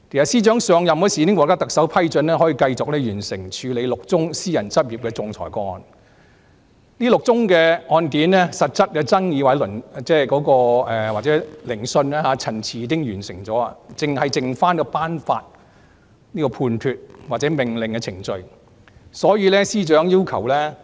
司長在上任時已獲特首批准可以繼續完成處理6宗私人執業仲裁個案，這6宗案件的實質爭議或聆訊、陳辭已經完成，僅剩下頒發判決或命令的程序，所以司長要求......